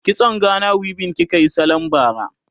kitson Gana weaving kikayi sallan bara?